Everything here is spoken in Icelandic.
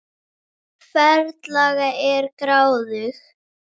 Ferlega ertu gráðug!